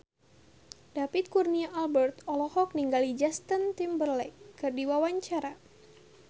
David Kurnia Albert olohok ningali Justin Timberlake keur diwawancara